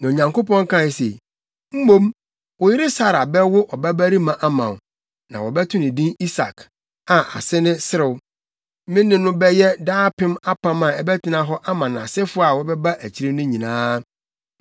Na Onyankopɔn kae se, “Mmom, wo yere Sara bɛwo ɔbabarima ama wo, na wobɛto no din Isak, a ase ne Serew. Me ne no bɛyɛ daapem apam a ɛbɛtena hɔ ama nʼasefo a wɔbɛba akyiri no nyinaa.